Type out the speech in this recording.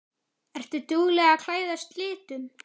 Ertu dugleg að klæðast litum?